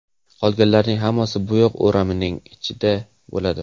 Qolganlarining hammasi bo‘yoq o‘ramining ichida bo‘ladi.